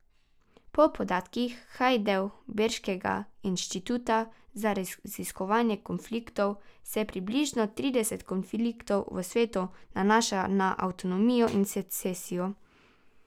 Po podatkih hajdelberškega inštituta za raziskovanje konfliktov se približno trideset konfliktov v svetu nanaša na avtonomijo in secesijo.